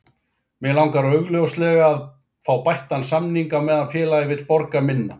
Mig langar augljóslega að fá bættan samning á meðan félagið vill borga minna.